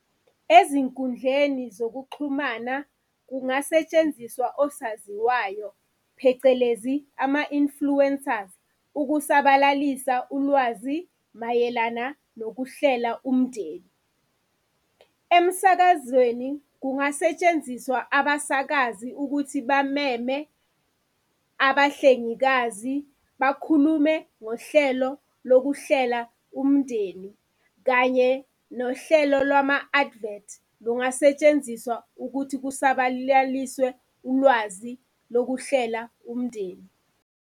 Ezinkundleni zokuxhumana, kungasetshenziswa osaziwayo phecelezi, ama-influencers, ukusabalalisa ulwazi mayelana nokuhlela umndeni. Emsakazweni, kungasetshenziswa abasakazi ukuthi bameme abahlengikazi bakhulume ngohlelo lokuhlela umndeni, kanye nohlelo lwama-advert lungasetshenziswa ukuthi kusabalaliswe ulwazi lokuhlela umndeni.